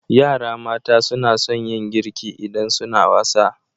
Yara mata suna sun yin girki idan suna wasa.